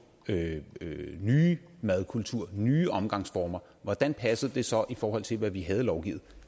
nye madkulturer nye omgangsformer hvordan passede det så i forhold til hvad vi havde lovgivet